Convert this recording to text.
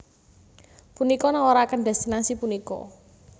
Punika nawaraken destinasi punika